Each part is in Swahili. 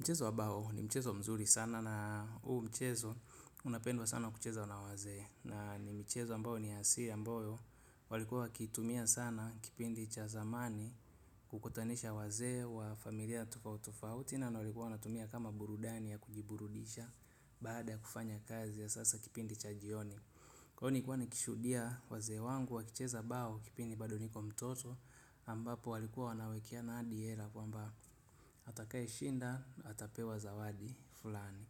Mchezo wa bao ni mchezo mzuri sana, na huu mchezo unapendwa sana kuchezwa na wazee na ni michezo ambayo ni ya asili ambayo walikua wanatumia sana kipindi cha zamani kukutanisha wazee wa familia tofauti tofauti na walikuwa wanatumia kama burudani ya kujiburudisha baada ya kufanya kazi ya sasa kipindi cha jioni. Kwa hyo nilkua nikishuhudia wazee wangu wakicheza bao kipindi bado niko mtoto ambapo walikuwa wanawekeana hadi hela kwamba atakayeshinda atapewa zawadi fulani.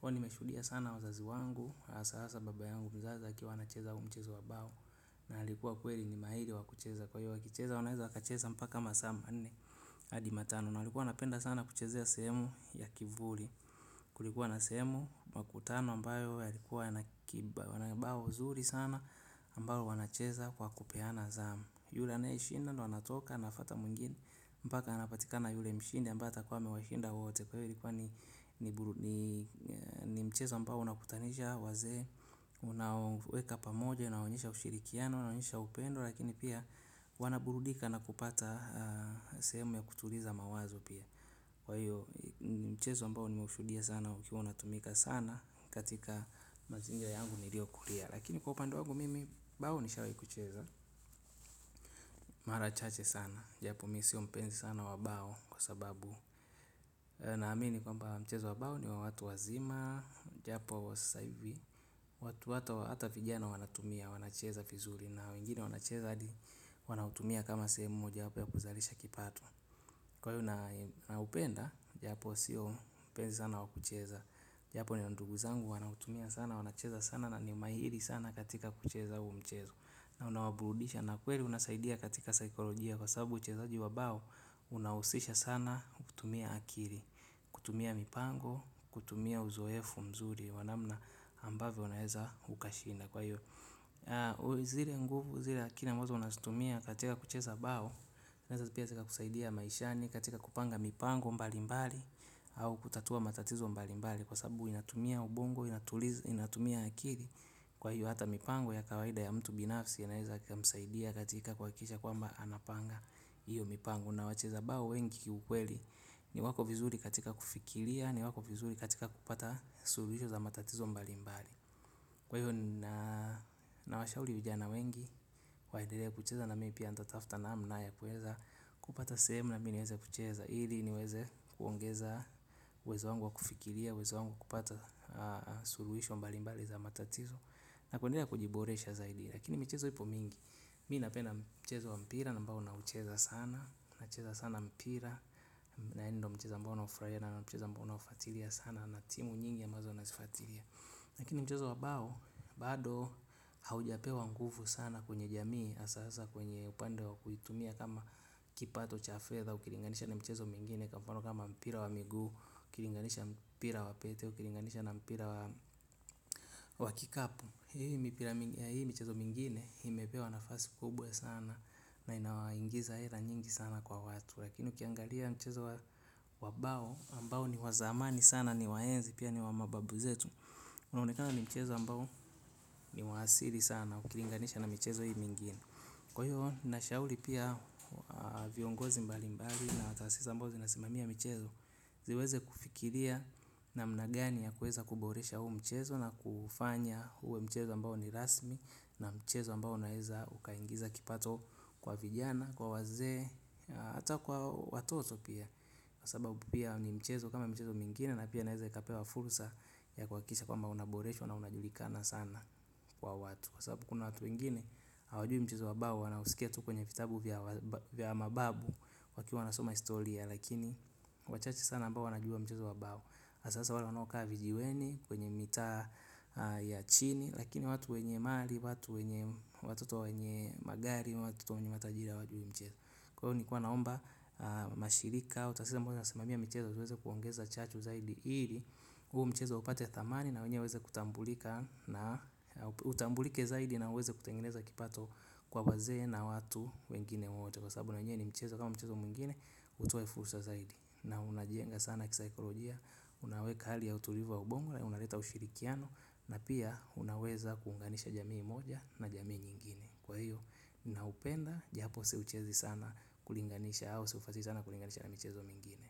Kwani nimeshudia sana wazazi wangu hasa baba yangu mzazi akiwa anacheza huu mchezo wa bao na alikuwa kweli ni maili wa kucheza hiyo wakucheza wanaweza wakacheza mpaka masaa manne hadi matano na walikuwa napenda sana kuchezea semu ya kivuli. Kulikuwa na sehemu, makutano ambayo yalikuwa yana bao zuri sana ambalo wanacheza kwa kupeana zamu yule anayishinda, ndo anatoka, anafuata mwingine mpaka anapatika na yule mshindi ambaye atakuwa amewashinda wote kwa hiyo likuwa ni mchezo ambayo unakutanisha wazee, unaoweka pamoja unawaonyesha ushirikiano, unawaonyesha upendo lakini pia wanaburudika na kupata semu ya kutuliza mawazo pia kwa hiyo mchezo mbao nimeushuhudia sana ukiwa unatumika sana katika mazingira yangu niliokulia. Lakini kwa upande wangu mimi bao nishawai kucheza mara chache sana. Japo mi sio mpenzi sana wa bao kwa sababu naamini kwamba mchezo wa bao ni watu wazima. Japo wa sasa ivi watu hata vijana wanatumia, wanacheza vizuri na wengine wanacheza hadi wanautumia kama sehemu japo ya kuzarisha kipato. Kwa hiyo naupenda, japo siyo mpenzi sana wakucheza. Japo nina ndugu zangu wanautumia sana, wanacheza sana na ni mahiri sana katika kucheza huu mchezo na unawaburudisha na ni kweli unasaidia katika saikolojia kwa sababu uchezaji wa ubao. Unausisha sana kutumia akili, kutumia mipango, kutumia uzoefu mzuri wa namna ambavyo unaeza ukashinda. Kwa hiyo, zile nguvu, zile akili ambazo unazitumia katika kucheza bao zinaeza pia zikakusaidia maishani katika kupanga mipango mbali mbali au kutatua matatizo mbali mbali. Kwa sababu inatumia ubongo, inatumia akili wwwa hiyo hata mipango ya kawaida ya mtu binafsi. Naeza ikamsaidia katika kuhakikisha kwamba anapanga hiyo mipango. Na wacheza bao wengi kiukweli ni wako vizuri katika kufikiria. Ni wako vizuri katika kupata suluhisho za matatizo mbali mbali. Kwa hiyo nawashauri vijana wengi waendelee kucheza nami pia nitatafta namna ya kuweza kupata sehemu nami niweze kucheza. Ili niweze kuongeza uwezo wangu wa kufikiria, uwezo wangu kupata suluhisho mbalimbali za matatizo na kuendelea kujiboresha zaidi. Lakini mchezo ipo mingi, mi napena mchezo wa mpira na ambao naucheza sana nacheza sana mpira na ndo mchezo ambao naufurahia na mchezo ambao naufatilia sana na timu nyingi ambazo nazifatilia. Lakini mchezo wabao bado haujapewa nguvu sana kwenye jamii hasa hasa kwenye upande wa kuitumia kama kipato cha fedha ukilinganisha na michezo mingine kwa mfano kama mpira wa miguu, ukilinganisha mpira wa pete, ukilinganisha na mpira wa kikapu. Hii michezo mingine imepewa nafasi kubwa sana na inawaingiza hela nyingi sana kwa watu. Lakini ukiangalia mchezo wabao ambao ni wa zamani sana ni wa enzi pia ni wa mababu zetu. Unaonekana ni mchezo ambao ni wa asili sana. Ukilinganisha na michezo hii mingine. Kwa hiyo, nashauri pia viongozi mbali mbali na tahasisi ambazo zinasimamia michezo. Ziweze kufikiria namna gani ya kuweza kuboresha huu mchezo na kuufanya uwe mchezo ambao ni rasmi. Na mchezo ambao unaeza ukaingiza kipato kwa vijana, kwa wazee hata kwa watoto pia, kwa sababu ni mchezo kama michezo mingine na pia inaweza kupewa fursa ya kuhakikisha kwamba unaboreshwa na unajulikana sana kwa watu, kwa sababu kuna watu wengine hawajui mchezo wa bao wanauskia tu kwenye vitabu vya vya mababu. Wakiwa wanasoma historia lakini wachache sana ambao wanajua mchezo wa bao hasa hasa wale wanaokaa vijiweni kwenye mitaa ya chini. Lakini watu wenye mali watato wa wenye magari. Watoto wa wenye matajiri hawajui huu mchezo. Kwa hiyo nilikuwa naomba. Mashirika, tahasisi ambazo zinasimamia michezo ziweze kuongeza chachu zaidi ili huu mchezo upate thamani na wenye waweze kutambulika, na utambulike zaidi na uweze kutengeneza kipato kwa wazee na watu wengine wote kwa sababu na wenye ni mchezo kama mchezo mwingine utoe fursa zaidi na unajenga sana kisaikolojia, unaweka hali ya utulivu ya ubongo, unaleta ushirikiano na pia unaweza kuunganisha jamii moja na jamii nyingine kwa hiyo ninaupenda japo siuchezi sana kulinganisha au siufutaliii sana kulinganisha na michezo mwingine.